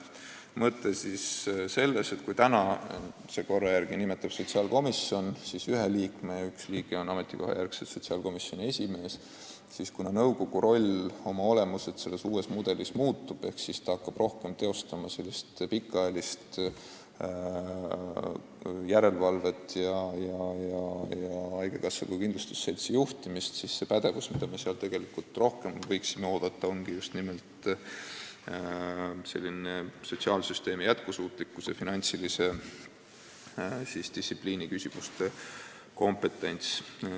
Mõte on selles, et kui praeguse korra järgi nimetab sotsiaalkomisjon ühe liikme ja üks liige on ametikohajärgselt sotsiaalkomisjoni esimees, siis kuna nõukogu roll oma olemuselt uue mudeliga muutub ehk nõukogu hakkab rohkem tegema pikaajalist järelevalvet ja haigekassat kui kindlustusseltsi juhtima, siis see pädevus, mida me seal tegelikult rohkem ootame, ongi just nimelt sotsiaalsüsteemi jätkusuutlikkuse ja finantsdistsipliini küsimuste kompetents.